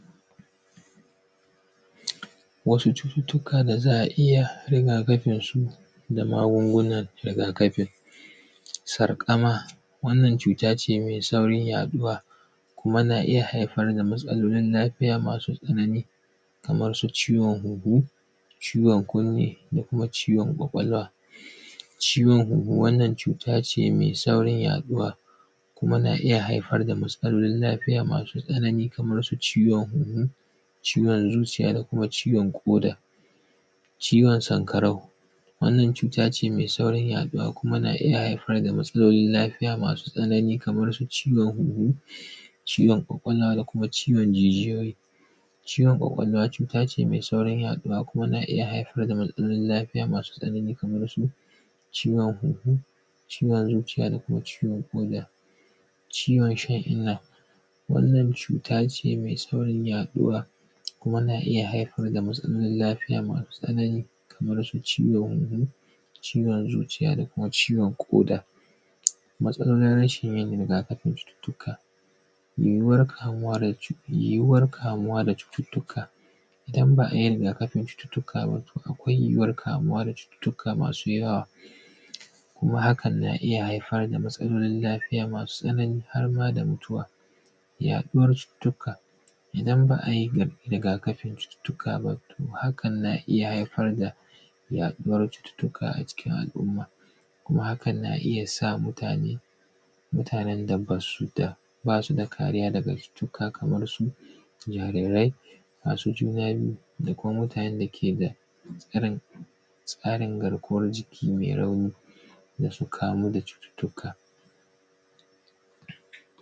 Wasu cututtuka da za a iya rigakafinsu da magungunan rigakafin, sarƙama wannan cuta ce me saurin yaɗuwa kuma yana iya haifar da matsalolin lafiya masu tsanani, kaman su ciwon hunhu, ciwon kunni da kuma ciwon kwakwalwa. Ciwon huhu wannan cuta ce me saurin yaɗuwa kuma yana iya haifar da matsalolin lafiya masu tsanani kaman su ciwon huhu, ciwon zuciya da kuma ciwon ƙoda. Ciwon sanƙarau, wannan cuta ce me saurin yaɗuwa kuma tana iya haifar da matsalolin lafiya masu tsanani kaman su ciwon huhu, ciwon kwakwalwa da kuma ciwon jijiyoyi. Ciwon kwakwalwa cuta ce me saurin yaɗuwa kuma na iya haifar da matsalolin lafiya masu tsanani kuma tashin ciwon huhu, ciwon zuciya da kuma ciwon ƙoda. Ciwon shan inna wannan cuta ce me saurin yaɗuwa kuma na iya haifar da matsaloli masu tsanani kamar su ciwon huhu, ciwon zuciya da kuma ciwon ƙoda. Matsalolin rashin yin rigakafin tuƙa yiyuwan kamuwa yiyuwan kamuwa da cututtuka idan ba a yi rigakafin cututtuka akwai yiyuwan kamuwa da cututtuka masu yawa kuma hakan na iya haifar da matsalolin lafiya masu tsanani harma da mutuwa. Yaɗuwan cututtuka idan ba a yi rigakafi cututtuka ba to hakan na iya haifar da yaɗuwan cututtuka a cikin al’umma kuma hakan na iya sa mutane, mutanen da ba su da kamuwa da cututtuka kamar su yarin rai masu juna biyu da kuma mutanen da ke da ƙarancin tsarin garkuwan jiki me rauni ke da su kamuwa da cututtuka.